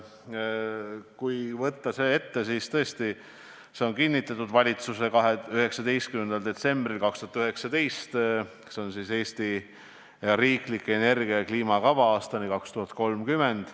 Kui võtta see kava ette, siis tõesti, valitsus on selle kinnitanud 19. detsembril 2019 ja tegemist on "Eesti riikliku energia- ja kliimakavaga aastani 2030".